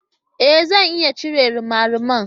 Ee! Zan iya cire rimariman.